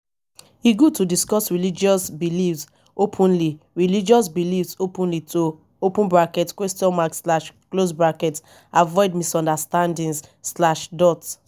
e good to discuss religious beliefs openly religious beliefs openly to avoid misunderstandings.